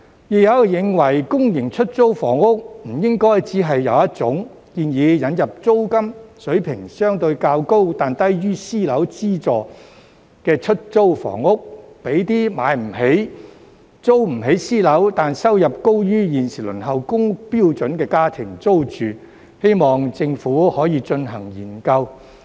亦有人認為公營出租房屋不應該只有一種，建議引入租金水平相對較高、但低於私樓的資助出租房屋，讓那些買不起、租不起私樓，但收入高於現時輪候公屋標準的家庭租住，希望政府可以進行研究。